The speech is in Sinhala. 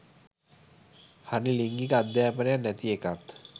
හරි ලිංගික අධ්‍යපනයක් නැති එකත්